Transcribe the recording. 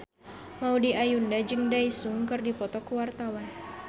Maudy Ayunda jeung Daesung keur dipoto ku wartawan